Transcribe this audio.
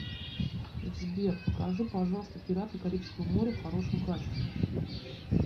сбер покажи пожалуйста пираты карибского моря в хорошем качестве